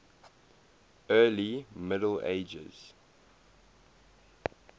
early middle ages